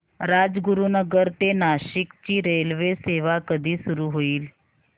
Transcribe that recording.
राजगुरूनगर ते नाशिक ची रेल्वेसेवा कधी सुरू होईल